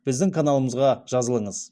біздің каналымызға жазылыңыз